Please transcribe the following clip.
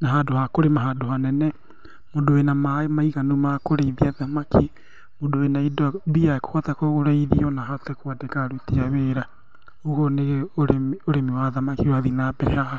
na handũ ha kũrĩma handũ hanene, mũndũ wĩna maaĩ maiganu makũrĩithia thamaki, mũndũ wĩna indo, mbia ekũhota kũgũra irio na ahote kwandĩka aruti a wĩra, ũguo nĩ ũrĩmi wa thamaki ũrathiĩ nambere haha.